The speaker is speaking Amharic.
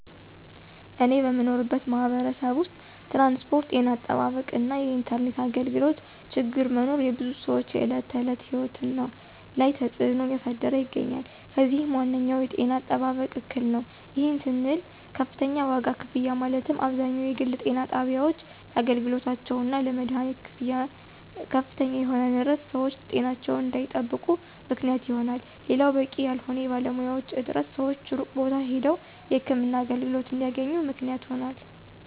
እኔ በምኖርበት ማህበረሰብ ውስጥ ትራንስፖርት፣ ጤና አጠባበቅ እና የኢንተርኔት አገልግሎቶ ችግር መኖር የብዙ ሰወች የዕለት ተዕለት ህይወት ላይ ተፅዕኖ እያሳደረ ይገኛል። ከዚህም ዋነኛው የጤና አጠባበቅ እክል ነው። ይህም ስንል ከፍተኛ ዋጋ ክፍያ ማለትም አብዛኛው የግል ጤና ጣቢያወች ለአገልግሎታቸው እና ለመደሀኒት ክፍያ ከፍተኛ የሆነ ንረት ሰወች ጤናቸውን እንዳይጠብቁ ምክንያት ይሆናል። ሌላው በቂ ያልሆነ የባለሙያዎች እጥረት ሰወች ሩቅ ቦታ ሄደው የህክምና አገልግሎት እንዲያገኙ ምክንያት ሆኗል።